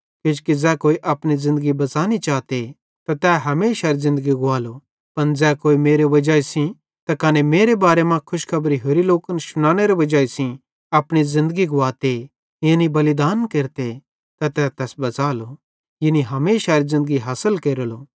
किजोकि ज़ै कोई अपनी ज़िन्दगी बच़ानी चाते त तै हमेशारी ज़िन्दगी गुवालो पन ज़ै कोई मेरे वजाई सेइं त कने मेरे बारे मां खुशखबरी होरि लोकन शुनानेरी वजाई सेइं अपनी ज़िन्दगी गुवाते यानी बलिदान केरते त तै तैस बच़ालो यानी हमेशारी ज़िन्दगी हासिल केरेलो